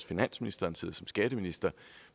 finansministeren siddet som skatteminister